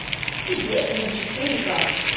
бэтмен четыре к